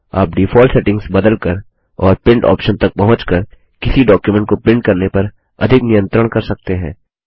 आप default settings बदलकर और प्रिंट ऑप्शन तक पहुँच कर किसी डॉक्युमेंट को प्रिंट करने पर अधिक नियत्रंण कर सकते हैं